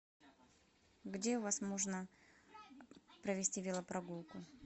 где у вас можно провести велопрогулку